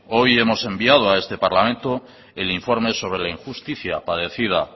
hoy hemos enviado a este parlamento el informe sobre la injusticia padecida